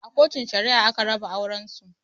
A Kotun Shari'a aka raba auren su.